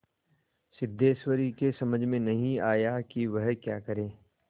सिद्धेश्वरी की समझ में नहीं आया कि वह क्या करे